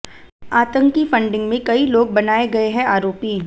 आतंकी फंडिंग में कई लोग बनाये गये हैं आरोपी